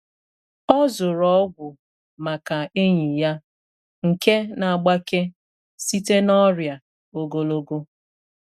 O zụrụ ọgwụ maka enyi ya nke na-agbake site n’ọrịa ogologo.